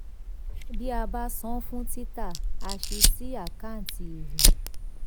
bí a bá san fún tita a sì sí àkáǹtì èrè.